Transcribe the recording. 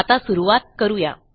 आता सुरूवात करू या